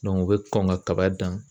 u bɛ kɔn ka kaba dan.